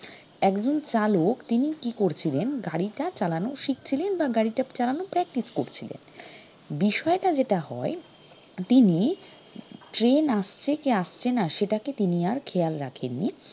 একজন চালক তিনি কি করছিলেন গাড়িটা চালানো শিখছিলেন বা গাড়িটা চালানোর practice করছিলেন বিষয়টা যেটা হয় তিনি train আসছে কি আসছেনা সেটাকে তিনি আর খেয়াল রাখেননি